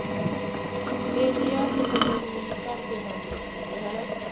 ਤਿੰਨ ਹਜ਼ਾਰ ਤੇ ਤੈਨੂੰ ਅਸੀਂ ਘਰਦੇ ਕੰਮ ਦਾ ਦਿਨੇ ਹਨਾ।